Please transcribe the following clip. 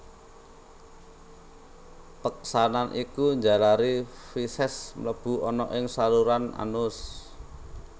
Peksanan iki njalari feses mlebu ana ing saluran anus